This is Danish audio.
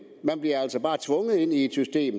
man bliver altså bare tvunget ind i et system